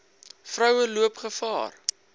vroue loop gevaar